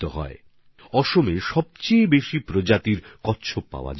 আসামে কচ্ছপের সবচেয়ে বেশি প্রজাতি পাওয়া যায়